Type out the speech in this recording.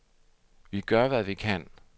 Vi gør, hvad vi kan.